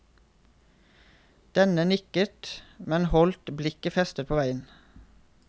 Denne nikket, men holdt blikket festet på veien.